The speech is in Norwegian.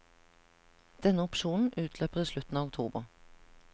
Denne opsjonen utløper i slutten av oktober.